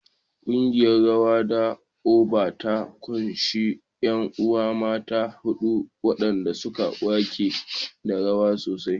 Ƙungiyar rawa ta Oba ta ƙunshi ƴan uwa mata huɗu waɗanda suke waƙa da rawa sosai.